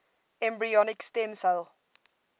embryonic stem cell